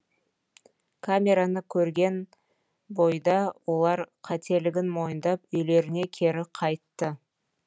камераны көрген бойда олар қателігін мойындап үйлеріне кері қайтты